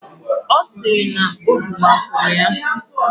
Ọ sịrị na obi mapụrụ ya.